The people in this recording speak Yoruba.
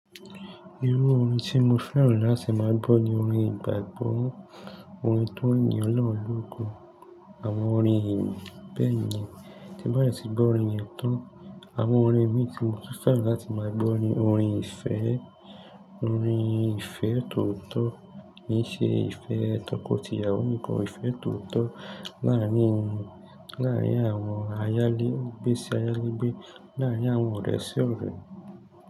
Irú orin tí mo fẹ́ràn láti máa gbọ́ ni orin ìgbàgbọ́, orin tó ní ọlọ́run lóko, àwọn orin bẹ́ẹ̀ yẹn. Tí bá de ti gbọ́ orin yen tán, àwọn orin mi tí mo fẹ́ràn láti máa gbọ́ ni orin ìfẹ́, orin ìfẹ́ tó tọ́, kì í ṣe ìfẹ́ tọkọtìyàwó nìkan, ìfẹ́ tó tọ́ láàárín, láàárín àwọn ayálégbé sí ayálégbé, láàárín àwọn ọ̀rẹ́ sí ọ̀rẹ́.